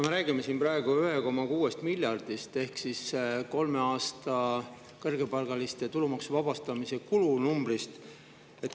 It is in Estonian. Me räägime siin praegu 1,6 miljardist ehk kõrgepalgaliste tulumaksu kulu numbrist kolme aasta jooksul.